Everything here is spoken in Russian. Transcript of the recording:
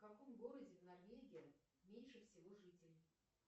в каком городе в норвегии меньше всего жителей